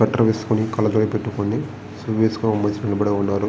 Sweater వేసుకుని కాళ్ళ జోడు పెట్టుకుని షూ వేసుకుని నిలబడి ఉన్నారు .